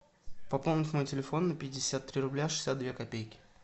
пополнить мой телефон на пятьдесят три рубля шестьдесят две копейки